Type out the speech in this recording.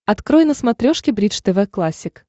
открой на смотрешке бридж тв классик